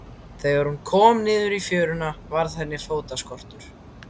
Þegar hún kom niður í fjöruna varð henni fótaskortur.